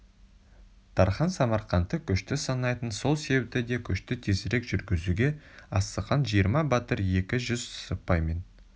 тархан самарқантты күшті санайтын сол себепті де көшті тезірек жүргізуге асыққан жиырма батыр екі жүз сыпаймен